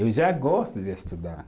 Eu já gosto de estudar.